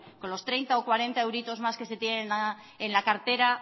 con los treinta o cuarenta euritos más que se tienen en la cartera